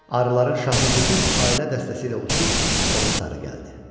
Arıların şahı bütün ailə dəstəsi ilə uçub ona sarı gəldi.